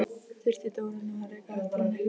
Þurfti nú Dóra að reka á eftir henni!